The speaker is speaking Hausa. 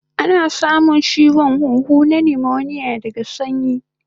Ana samun chiwon huhu daga sanyi